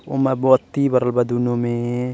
उमें बत्ती बरल बा दुनो में।